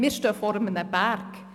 Wir stehen vor einem Berg.